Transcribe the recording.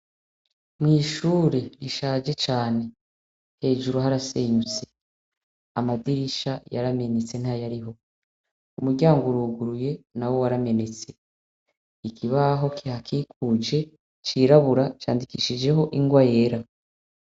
Mw'ishure rishaje cane hejuru harasenyutse amadirisha yaramenetse nta yariho umuryango uruguruye na we waramenetse ikibaho kihakikuje cirabura candikishijeho ingwa yera.